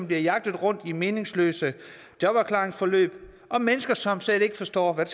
bliver jagtet rundt i meningsløse jobafklaringsforløb og mennesker som slet ikke forstår hvad